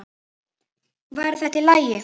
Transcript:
Væri þetta í lagi?